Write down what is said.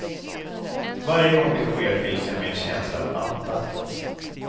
Varje gång det sker fylls jag med en känsla av andakt.